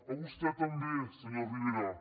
a vostè també senyor rivera